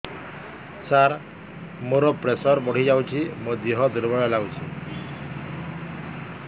ସାର ମୋର ପ୍ରେସର ବଢ଼ିଯାଇଛି ମୋ ଦିହ ଦୁର୍ବଳ ଲାଗୁଚି